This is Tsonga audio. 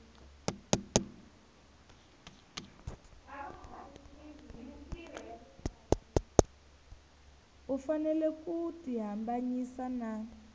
u fanele ku tihambanyisa na